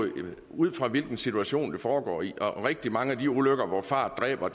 ud fra hvilken situation det foregår i og rigtig mange af de ulykker hvor fart dræber